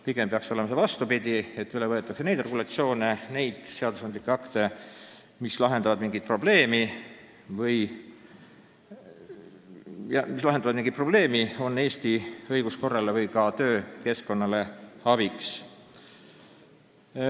Pigem peaks see lausa vastupidi olema, et üle võetakse neid regulatsioone ja seadusandlikke akte, mis lahendavad mingit probleemi, on Eesti õiguskorrale või ka töökeskkonnale abiks.